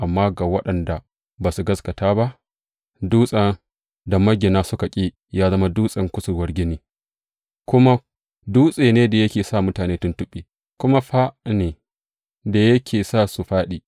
Amma ga waɗanda ba su gaskata ba, Dutsen da magina suka ƙi ya zama dutsen kusurwar gini, kuma, Dutse ne da yake sa mutane tuntuɓe kuma fā ne da yake sa su fāɗi.